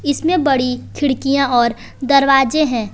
इसमें बड़ी खिड़कियां और दरवाजे हैं।